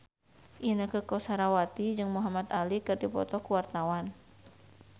Inneke Koesherawati jeung Muhamad Ali keur dipoto ku wartawan